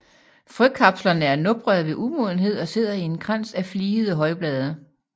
Frøkapslerne er noprede ved umodenhed og sidder i en krans af fligede højblade